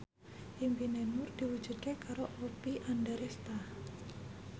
impine Nur diwujudke karo Oppie Andaresta